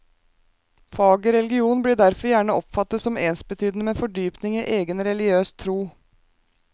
Faget religion blir derfor gjerne oppfattet som ensbetydende med fordypning i egen religiøs tro.